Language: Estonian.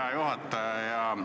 Hea juhataja!